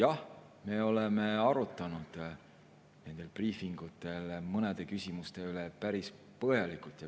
Jah, me oleme arutanud nendel briifingutel mõne küsimuse üle päris põhjalikult.